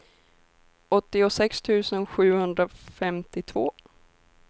åttiosex tusen sjuhundrafemtiotvå